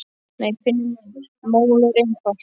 Nei, Finnur minn, málið er einfalt.